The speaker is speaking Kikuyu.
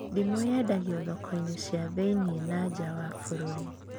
Ndimũ yendagio thoko-inĩ cia thĩiniĩ na nja wa bũrũri